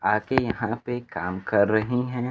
आगे यहां पे काम कर रही हैं।